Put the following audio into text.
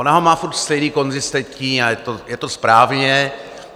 Ona ho má furt stejný, konzistentní, a je to správně.